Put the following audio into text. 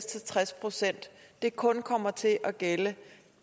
til tres procent kun kommer til at gælde